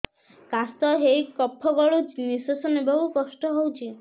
କାଶ ହେଇ କଫ ଗଳୁଛି ନିଶ୍ୱାସ ନେବାକୁ କଷ୍ଟ ହଉଛି